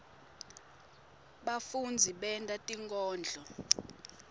bafundzi benta tinkondlo